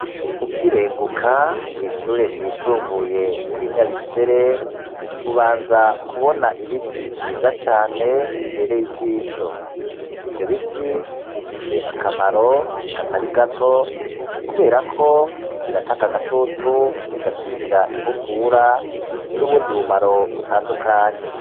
Ukirenguka kw'ishure ryisumbuye ry'i Nyabikere, ubanza kubona ibiti vyiza cane bibereye ijisho. Ivyo biti bifise akamaro katari gato, kubera ko biratanga agatutu, bigakinga inkukura, n'ubundi bumaro butandukanye.